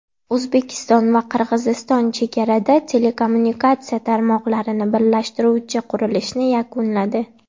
O‘zbekiston va Qirg‘iziston chegarada telekommunikatsiya tarmoqlarini birlashtiruvchi qurilishni yakunladi.